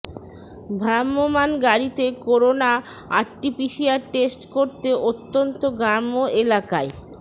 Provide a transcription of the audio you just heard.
ভ্রাম্যমাণ গাড়িতে corona RTPCR test করতে অত্যন্ত গ্রাম্য এলাকায়